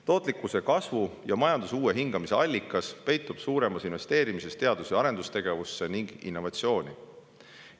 Tootlikkuse kasvu ja majanduse uue hingamise allikas peitub suuremas investeerimises teadus- ja arendustegevusse ning innovatsiooni.